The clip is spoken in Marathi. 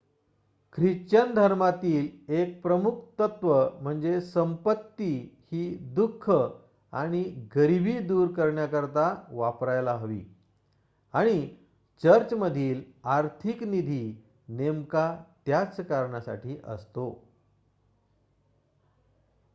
ख्रिश्चन धर्मातील 1 प्रमुख तत्व म्हणजे संपत्ती ही दुख आणि गरिबी दूर करण्याकरिता वापरायला हवी आणि चर्चमधील आर्थिक निधी नेमका त्याच कारणासाठी असतो